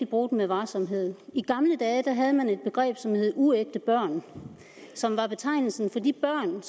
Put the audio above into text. bruge dem med varsomhed i gamle dage havde man et begreb som hed uægte børn som var betegnelsen for de børn